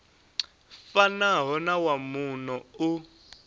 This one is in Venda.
fanaho na wa muno u